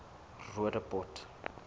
roodepoort